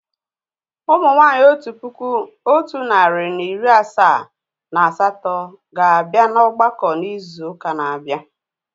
Ụmụ nwanyị otu puku otu nari na iri asaa na asatọ ga abịa na ọgbakọ n'izu uka na abia